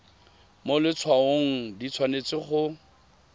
mo letshwaong di tshwanetse go